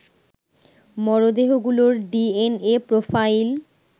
মরদেহগুলোর DNA profile